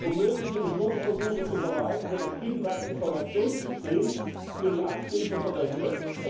Um mögliche Betrugsversuche zu vermeiden, wird das Binnenmarktinformationssystem für die Amtshilfe verwendet.